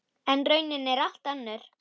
En raunin er allt önnur.